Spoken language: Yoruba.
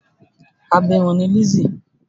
Abirùn ni Lizzy.